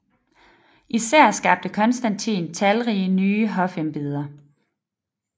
Især skabte Konstantin talrige nye hofembeder